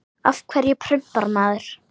Af hverju prumpar maður?